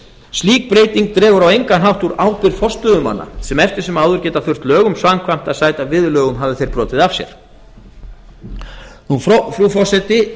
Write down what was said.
slík breyting dregur á engan hátt úr ábyrgð forstöðumanna sem eftir sem áður geta þurft lögum samkvæmt að sæta viðurlögum hafi þeir brotið af sér frú forseti